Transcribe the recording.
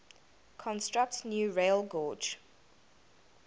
construct new railgauge